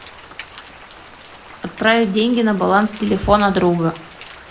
отправить деньги на баланс телефона друга